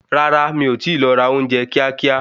Rárá, mi ọ ti lọ ra ounje kíá kíá